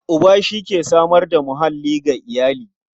Uba shi ke samar da muhalli ga iyali.